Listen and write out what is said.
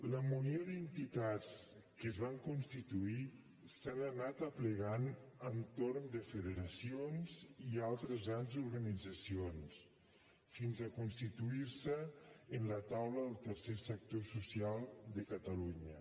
la munió d’entitats que es van constituir s’han anat aplegant entorn de federacions i altres grans organitzacions fins a constituir se en la taula del tercer sector social de catalunya